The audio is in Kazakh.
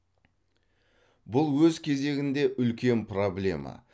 бұл өз кезегінде үлкен проблема